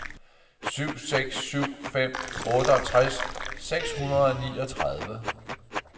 syv seks syv fem otteogtres seks hundrede og niogtredive